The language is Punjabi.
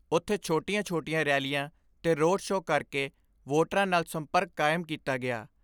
ਉਥੇ ਛੋਟੀਆਂ ਛੋਟੀਆਂ ਰੈਲੀਆਂ ਤੇ ਰੋਡ ਸ਼ੋਅ ਕਰਕੇ ਵੋਟਰਾਂ ਨਾਲ ਸੰਪਰਕ ਕਾਇਮ ਕੀਤਾ ਗਿਆ।